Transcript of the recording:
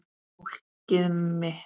Fólkið mitt